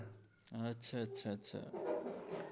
હા અચ્છા અચ્છા અચ્છા